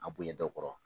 A bonya dɔw kɔrɔ